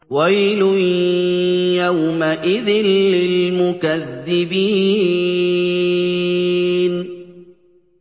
وَيْلٌ يَوْمَئِذٍ لِّلْمُكَذِّبِينَ